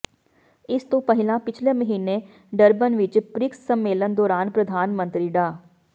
ਇਸ ਤੋਂ ਪਹਿਲਾਂ ਪਿਛਲੇ ਮਹੀਨੇ ਡਰਬਨ ਵਿਚ ਪ੍ਰਿਕਸ ਸੰਮੇਲਨ ਦੌਰਾਨ ਪ੍ਰਧਾਨ ਮੰਤਰੀ ਡਾ